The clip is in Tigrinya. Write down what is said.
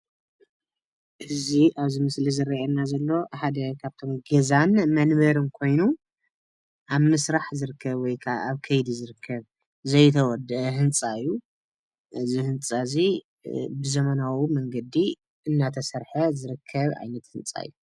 እዙይ ኣብዚ ምስሊ እንርእዮ ዘለና ሓደ ካብቶም ገዛን መንበር ኮይኑ ኣብ ምስራሕ ዝርከብ ወይ ካዓ ኣብ ከይዲ ከይዲ ዝረከብ ዘይተወደአ ህንፃ እዩ። እዙይ ህንፃ እዙይ ብዘመናዊ መንገዲ እናተሰርሐ ዝርከብ ዓይነት ህንፃ እዩ።